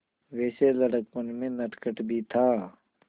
वैसे लड़कपन में नटखट भी था